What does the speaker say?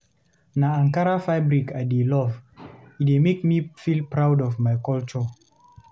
Na Ankara fabric I dey love, e dey make me feel proud of my culture.